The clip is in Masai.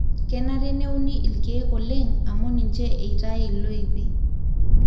kenare neuni ilkiek oleng amu ninche eitai loipi